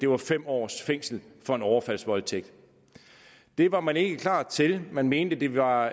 var fem års fængsel for en overfaldsvoldtægt det var man ikke klar til man mente det var